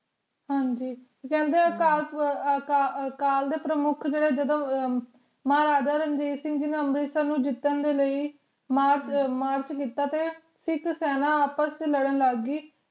ਹਾਂਜੀ ਕਹਿੰਦੇ ਅਕਾਲ ਦੇ ਪ੍ਰਮੁੱਖ ਜੇਦੇ ਜਦੋ ਮਹਾਰਾਜਾ ਰਣਜੀਤ ਸਿੰਘ ਜੀ ਨੇ ਅੰਮ੍ਰਿਤਸਰ ਨੂੰ ਜਿੱਤਣ ਦੇ ਲਯੀ ਮਾਰਚ ਕੀਤਾ ਤੇ ਸਿੱਖ ਸੈਨਾ ਆਪਸ ਚੇ ਲੜਨ ਲੱਗ ਗਈ